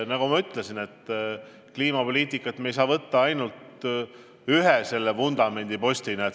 Nagu ma ütlesin, kliimapoliitikat ei saa võtta ainult ühe vundamendipostina.